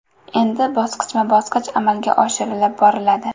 Endi bosqichma-bosqich amalga oshirilib boriladi.